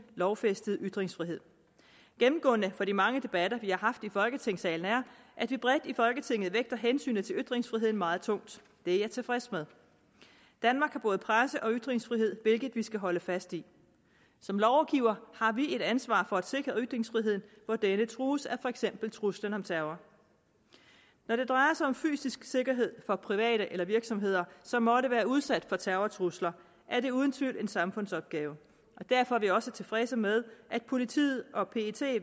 lovfæstede ytringsfrihed gennemgående for de mange debatter vi har haft i folketingssalen er at vi bredt i folketinget vægter hensynet til ytringsfriheden meget tungt det er jeg tilfreds med danmark har både presse og ytringsfrihed hvilket vi skal holde fast i som lovgivere har vi et ansvar for at sikre ytringsfriheden hvor denne trues for eksempel af truslen om terror når det drejer sig om fysisk sikkerhed for private eller virksomheder som måtte være udsat for terrortrusler er det uden tvivl en samfundsopgave derfor er vi også tilfredse med at politiet og pet